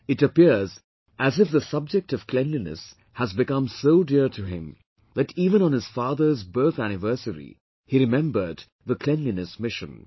It appears as if the subject of cleanliness has become so dear to him that even on his father's birth anniversary he remembered the Cleanliness Mission